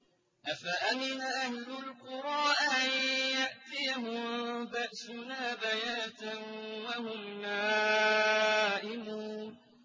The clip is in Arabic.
أَفَأَمِنَ أَهْلُ الْقُرَىٰ أَن يَأْتِيَهُم بَأْسُنَا بَيَاتًا وَهُمْ نَائِمُونَ